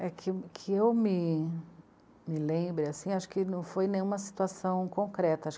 É que, que eu me... me lembre, assim, acho que não foi nenhuma situação concreta, acho